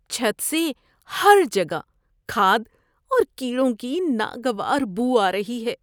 چھت سے ہر جگہ کھاد اور کیڑوں کی ناگوار بو آ رہی ہے۔